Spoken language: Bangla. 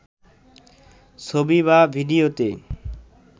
ছবি বা ভিডিওতে